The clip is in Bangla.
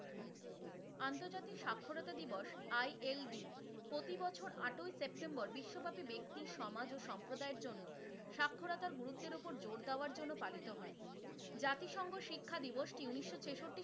আন্তর্জাতিক স্বাক্ষরতা দিবস ILD প্রতিবছর আটই সেপ্টেম্বর বিশ্বব্যাপী ব্যাক্তি সমাজ ও সম্প্রদায়ের জন্য স্বাক্ষরতার গুরুত্বের ওপর জোর দেওয়ার জন্য পালিত হয়। জাতিসংঘ শিক্ষাদিবসটি উনিশশো ছেষট্টি,